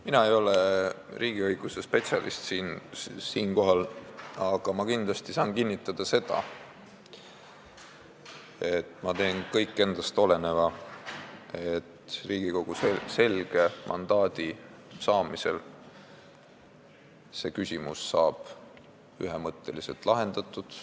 Mina ei ole siinkohal riigiõiguse spetsialist, aga ma saan kinnitada seda, et ma teen kõik endast oleneva, et see küsimus Riigikogu selge mandaadi saamise järel ühemõtteliselt lahendataks.